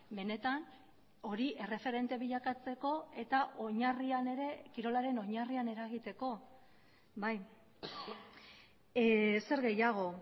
benetan hori erreferente bilakatzeko eta oinarrian ere kirolaren oinarrian eragiteko bai zer gehiago